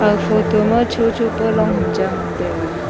a photo ma chocho pa long ham cha ngan taiga.